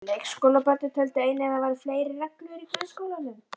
Leikskólabörnin töldu einnig að það væru fleiri reglur í grunnskólanum.